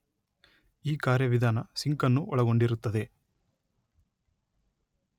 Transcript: ಈ ಕಾರ್ಯವಿಧಾನ ಸಿಂಕ್ ಅನ್ನು ಒಳಗೊಂಡಿರುತ್ತದೆ